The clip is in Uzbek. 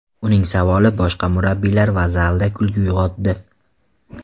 Uning savoli boshqa murabbiylar va zalda kulgu uyg‘otdi.